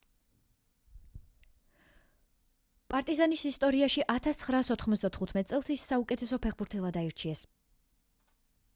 პარტიზანის ისტორიაში 1995 წელს ის საუკეთესო ფეხბურთელად აარჩიეს